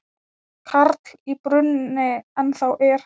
Karl í brúnni ennþá er.